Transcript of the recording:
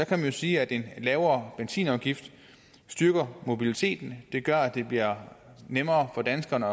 man sige at en lavere benzinafgift styrker mobiliteten det gør at det bliver nemmere for danskerne